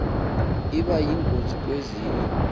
iba yingozi kwezinye